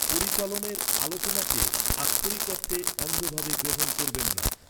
পরিচালনের আলোচনাকে আক্ষরিক অর্থে অন্ধভাবে গ্রহণ করবেন না।